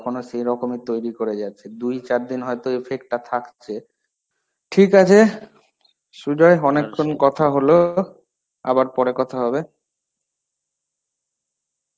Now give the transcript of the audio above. এখনও সেরকমই তৈরী করে যাচ্ছে. দুই চারদিন হয়তো effect থাকছে. ঠিকআছে সুজয় অনেক্ষণ কথা হলো. আবার পরে কথা হবে.